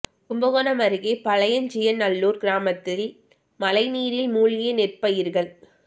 கும்பகோணம் அருகே பழியஞ்சியநல்லூர் கிராமத்தில் மழை நீரில் மூழ்கிய நெற் பயிர்கள்